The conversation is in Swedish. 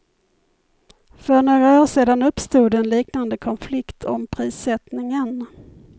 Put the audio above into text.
För några år sedan uppstod en liknande konflikt om prissättningen.